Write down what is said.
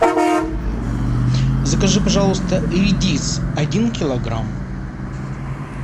закажи пожалуйста редис один килограмм